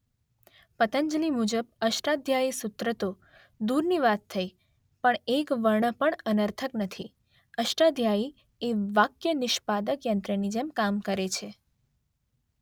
પતંજલિ મુજબ અષ્ટાધ્યાયી સૂત્ર તો દૂરની વાત થઈ પણ એક વર્ણ પણ અનર્થક નથી -અષ્ટાધ્યાયી એ વાક્યનિષ્પાદક યંત્રની જેમ કામ કરે છે.